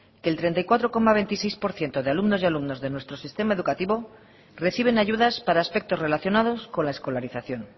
que el treinta y cuatro coma veintiséis por ciento de alumnos y alumnas de nuestro sistema educativo reciben ayudas para aspectos relacionados con la escolarización